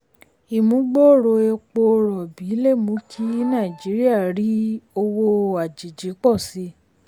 ìmúgbòòrò epo rọ̀bì lè mú kí nàìjíríà rí owó àjèjì pọ̀ sí i.